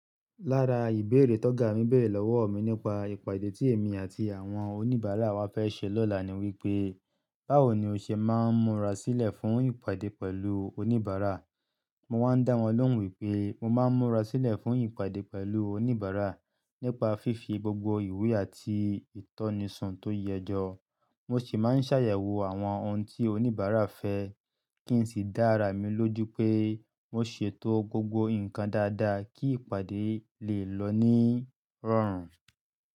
Lára ìbéèrè tóga mi bẹ̀rẹ̀ lọ́wọ́ mi nípa ìpàdé tí èmi àti àwọn oníbàárà wa fẹ́ ṣe lọ́la ni wípé, báwo ni o ṣe máa ń múra sílẹ̀ fún ìpàdé pẹ̀lú oníbàárà? Mo wáń dá wọn lóhùn wípé mo máa ń múra sílẹ̀ fún ìpàdé pẹ̀lú oníbàárà nípa fífi gbogbo ìwúya àti ìtọ́nisún tó yẹ jọ. Mo sì máa ń ṣàyẹ̀wò àwọn ohun tí oníbàárà fẹ́ kí n sì dára mi lójú pé mo ṣe tó gbogbo nǹkan dáadáa kí ìpàdé lè lọ ní rọrùn.